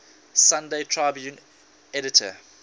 sunday tribune editor